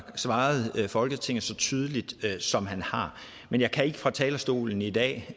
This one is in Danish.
svaret folketinget så tydeligt som han har men jeg kan ikke fra talerstolen i dag